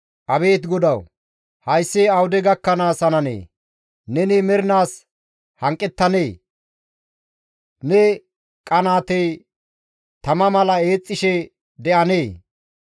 Abeet GODAWU! Hayssi awude gakkanaas hananee? Neni mernaas hanqettanee? Ne qanaatey tama mala eexxishe de7anee?